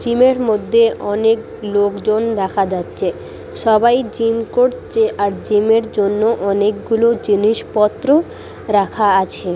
Gym -এর মধ্যে অনেক লোকজন দেখা যাচ্ছে। সবাই জিম করছে আর জিম -এর জন্য অনেকগুলো জিনিসপত্র রাখা আছে।